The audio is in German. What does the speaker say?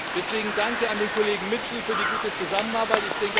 Deswegen mein Dank an den Kollegen Mitchell für die gute Zusammenarbeit.